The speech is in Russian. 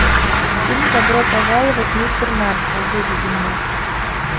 фильм добро пожаловать мистер маршалл выведи мне